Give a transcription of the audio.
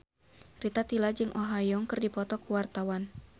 Rita Tila jeung Oh Ha Young keur dipoto ku wartawan